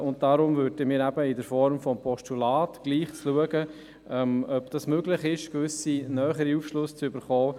Deshalb würden wir mit der Form eines Postulats trotzdem schauen, ob es eine Möglichkeit gibt, einen näheren Aufschluss zu erhalten.